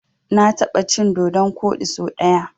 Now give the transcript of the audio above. Na taɓa cin dodon koɗi so ɗaya.